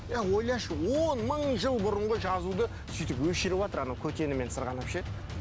ойлашы он мың жыл бұрынғы жазуды сөйтіп өшіріватыр анау көтенімен сырғанап ше